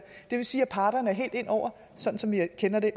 det vil sige at parterne er helt inde over sådan som vi kender det